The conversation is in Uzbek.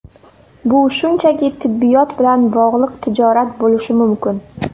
Bu shunchaki tibbiyot bilan bog‘liq tijorat bo‘lishi mumkin.